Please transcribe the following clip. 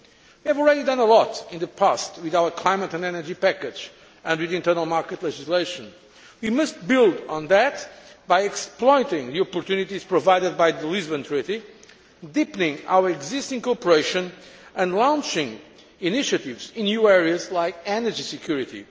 We have already done a lot in the past with our climate and energy package and with internal market legislation. We must build on that by exploiting the opportunities provided by the Lisbon Treaty, deepening our existing cooperation and launching initiatives in new areas like energy security.